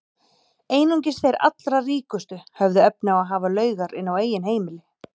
Einungis þeir allra ríkustu höfðu efni á að hafa laugar inni á eigin heimili.